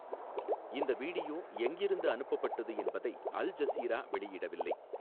இந்த வீடியோ எங்கிருந்து அனுப்பப்பட்டது என்பதை அல் ஜஸீரா வெளியிடவில்லை.